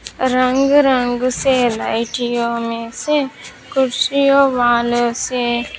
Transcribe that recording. रंग रंग से लड़कियों में से कुर्सियों वाले से--